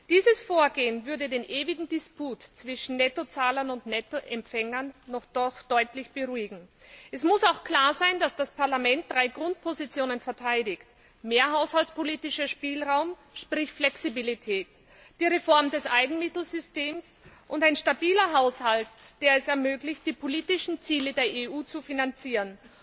Dieses Vorgehen würde den ewigen Disput zwischen Nettozahlern und Nettoempfängern deutlich beruhigen. Es muss auch klar sein, dass das Parlament drei Grundpositionen verteidigt mehr haushaltspolitischer Spielraum, sprich Flexibilität, die Reform des Eigenmittelsystems und ein stabiler Haushalt, der es ermöglicht, die politischen Ziele der EU zu finanzieren.